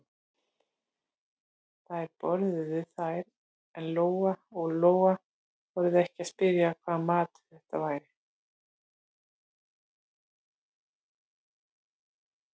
Þær borðuðu þær en Lóa-Lóa þorði ekki að spyrja hvaða maður þetta væri.